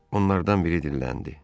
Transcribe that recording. Onlardan biri dilləndi.